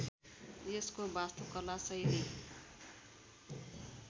यसको वास्तुकला शैली